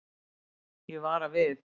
Ég vara við.